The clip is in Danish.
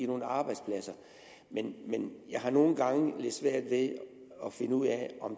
nogle arbejdspladser men jeg har nogle gange lidt svært ved at finde ud af om